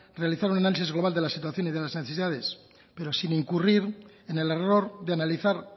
realizar un análisis global de la situación y de las necesidades pero sin incurrir en el error de analizar